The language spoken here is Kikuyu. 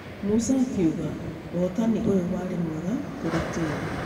Musa akĩuga ũhotani ũyũ warĩ mwega kũrĩ timũ.